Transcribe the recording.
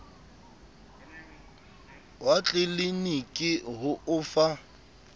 wa tleliniki ho o fa